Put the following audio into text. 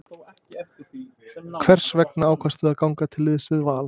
Hvers vegna ákvaðstu að ganga til liðs við Val?